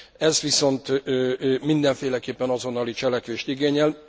Ez viszont mindenféleképpen azonnali cselekvést igényel.